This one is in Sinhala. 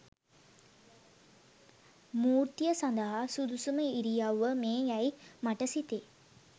මූර්තිය සදහා සුදුසුම ඉරියව්ව මේ යැයි මට සිතේ